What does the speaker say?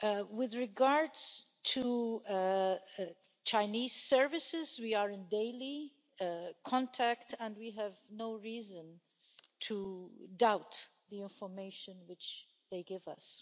With regards to Chinese services, we are in daily contact and we have no reason to doubt the information which they give us.